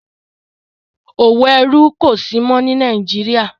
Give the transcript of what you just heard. òwò ẹrú kò sí mọ́ ní Nàìjíríà.